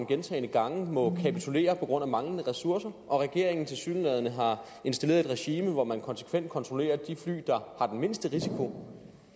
gentagne gange må kapitulere på grund af manglende ressourcer og at regeringen tilsyneladende har installeret et regime hvor man konsekvent kontrollerer de fly der har den mindste risiko